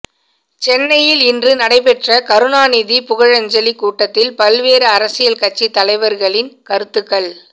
சென்னையில் இன்று நடைபெற்ற கருணாநிதி புகழஞ்சலி கூட்டத்தில் பல்வேறு அரசியல் கட்சி தலைவர்களின் கருத்துக்கள்